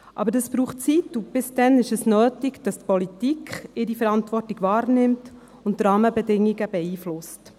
Aber dies braucht Zeit, und bis dahin ist es nötig, dass die Politik ihre Verantwortung wahrnimmt und die Rahmenbedingungen beeinflusst.